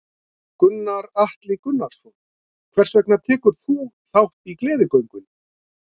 Gunnar Atli Gunnarsson: Hvers vegna tekur þú þátt í Gleðigöngunni?